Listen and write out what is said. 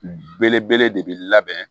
Belebele de bɛ labɛn